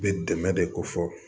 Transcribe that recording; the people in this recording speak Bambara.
Bɛ dɛmɛ de ko fɔ